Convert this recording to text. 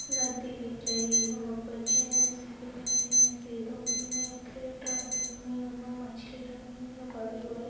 नदी दिख रही वहाँ पर जेंट्स है दिख रहे है दो तीन उनमे मछली रखी हुई है बड़ी बड़ी--